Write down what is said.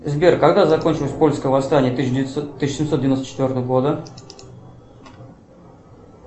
сбер когда закончилось польское восстание тысяча девятьсот тысяча семьсот девяносто четвертого года